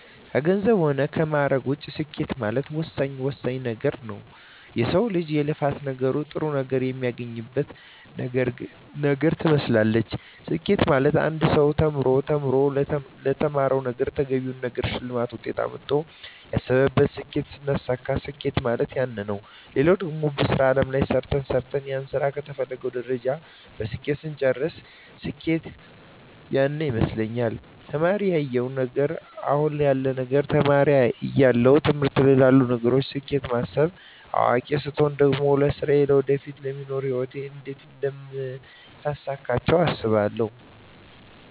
ከገንዘብ ሆነ ከማእረግ ውጭ ስኬት ማለት ወሳኝ ወሳኝ ነገረ ነዉ የሰው ልጅ የልፋት ነገር ጥሩ ነገር የሚያገኝበት ነገር ትመስላለች ስኬት ማለት አንድ ሰው ተምሮ ተምሮ ለተማረዉ ነገረ ተገቢውን ነገር ሸልማት ውጤት አምጥተው ያሰብቱን ስኬት ስናሳካዉ ስኬት ማለት ያነ ነዉ ሌላው ደግሞ በሥራ አለም ላይ ሰርተ ሰርተን ያንን ስራ ከተፈለገዉ ደረጃ በስኬት ስንጨርስ ስኬት ያነ ይመስለኛል ተማሪ እያለው እና አሁን ያለዉ ነገር ተማሪ እያለው ትምህርቶች ላይ ላሉ ነገሮች ስኬት ማስብ አዋቂ ስቾን ደግሞ ለስራየ ለወደፊቱ ለሚኖሩ ህይወት እንዴት አደምታሳካቸው አስባለሁ